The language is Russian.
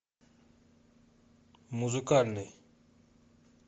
музыкальный